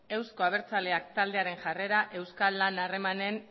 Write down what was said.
euzko abertzaleak taldearen jarrera euskal lan harremanen